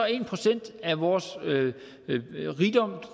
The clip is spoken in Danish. en procent af vores